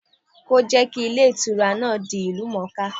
Kí ó jẹ́ kí Ilé Ìtura náà di ìlú mòóká